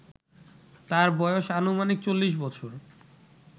তার বয়স আনুমানিক ৪০ বছর